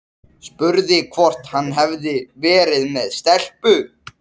Spurði hvort hann hefði verið með stelpu.